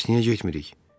Bəs niyə getmirik?